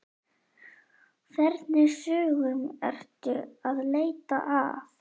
Hvernig sögum ertu að leita að?